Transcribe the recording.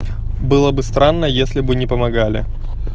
было бы странно если бы не помогали